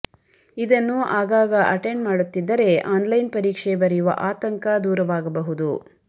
ಇದನ್ನು ಆಗಾಗ ಅಟೆಂಡ್ ಮಾಡುತ್ತಿದ್ದರೆ ಆನ್ಲೈನ್ ಪರೀಕ್ಷೆ ಬರೆಯುವ ಆತಂಕ ದೂರವಾಗಬಹುದು